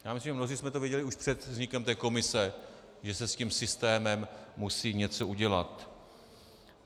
Já myslím, že mnozí jsme to věděli už před vznikem té komise, že se s tím systémem musí něco udělat.